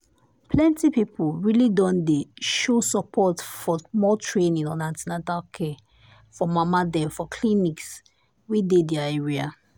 plenty people really don dey show support for more training on an ten atal care for mama dem for clinics wey dey their area.